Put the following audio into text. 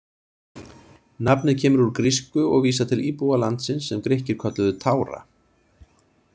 Nafnið kemur úr grísku og vísar til íbúa landsins sem Grikkir kölluðu Tára.